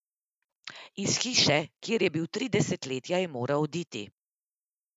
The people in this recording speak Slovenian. Iz hiše, kjer je bil tri desetletja, je moral oditi.